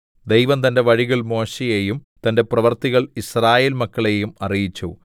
ദൈവം തന്റെ വഴികൾ മോശെയെയും തന്റെ പ്രവൃത്തികൾ യിസ്രായേൽമക്കളെയും അറിയിച്ചു